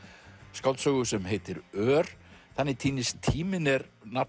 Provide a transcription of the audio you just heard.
skáldsögu sem heitir ör þannig týnist tíminn er nafn